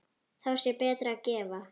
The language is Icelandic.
Þá sé betra að gefa.